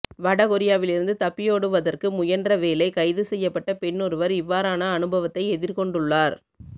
வடகொரியாவிலிருந்து தப்பியோடுவதற்கு முயன்றவேளை கைது செய்யப்பட்ட பெண்ணொருவர் இவ்வாறான அனுபவத்தை எதிர்கொண்டுள்ளார்